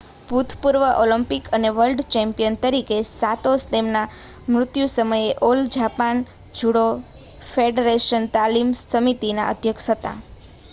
ભૂતપૂર્વ ઓલિમ્પિક અને world champion તરીકે સાતો તેમના મૃત્યુ સમયે ઓલ જાપાન જુડો ફેડરેશન તાલીમ સમિતિના અધ્યક્ષ હતા